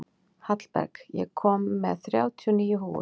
Hallberg, ég kom með þrjátíu og níu húfur!